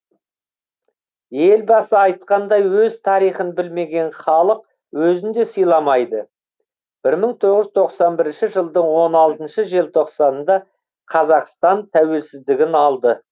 елбасы айтқандай өз тарихын білмеген халық өзін де сыйламайды бір мың тоғыз жүз тоқсан бірінші жылдың он алтыншы желтоқсанында қазақстан тәуелсіздігін алды